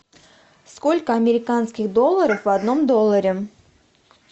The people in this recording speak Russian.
сколько американских долларов в одном долларе